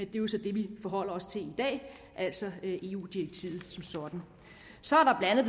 er jo så det vi forholder os til i dag altså eu direktivet som sådan så er der